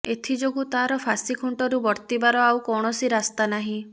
ଏଥିଯୋଗୁଁ ତାର ଫାଶୀ ଖୁଣ୍ଟରୁ ବର୍ତ୍ତିବାର ଆଉ କୌଣସି ରାସ୍ତା ନାହିଁ